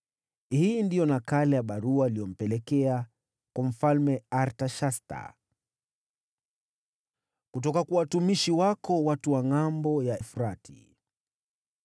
(Hii ndiyo nakala ya barua waliyompelekea.) Kwa Mfalme Artashasta, Kutoka kwa watumishi wako, watu wa Ngʼambo ya Mto Frati: